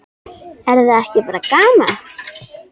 Er það ekki bara gaman?